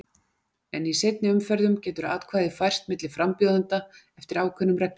En í seinni umferðum getur atkvæðið færst milli frambjóðenda eftir ákveðnum reglum.